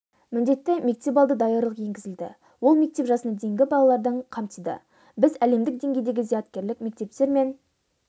міндетті мектепалды даярлық енгізілді ол мектеп жасына дейінгі балалардың қамтыды біз әлемдік деңгейдегі зияткерлік мектептер мен